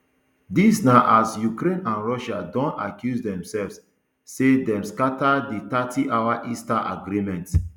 dis na as ukraine and russia don accuse demsefs say dem scata di thirtyhour easter agreement